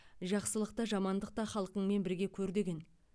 жақсылық та жамандық та халқыңмен бірге көр деген